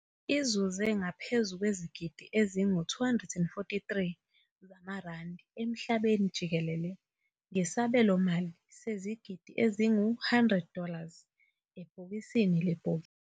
Izuze ngaphezu kwezigidi ezingu-243 zamaRandi emhlabeni jikelele ngesabelomali sezigidi ezingu-100 dollars ebhokisini lebhokisi.